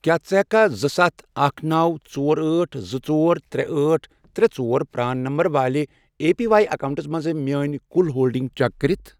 کیٛاہ ژٕ ہیٛککھا زٕ، ستھَ، اکھ، نوَ، ژور، أٹھ، زٕ، ژور، ترے، أٹھ، ترے، ژور، پران نمبر والہِ اے پی واٮٔی اکاؤنٹس مَنٛز میٲنۍ کل ہولڈنگ چیک کٔرتھ؟